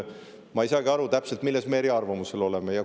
Ma ei saagi täpselt aru, milles me eriarvamusel oleme.